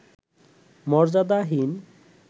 মর্যাদাহীন